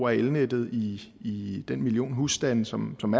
elnettet i den million husstande som som